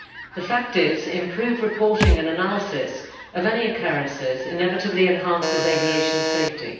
The fact is, improved reporting and analysis of any occurrences inevitably enhances aviation safety.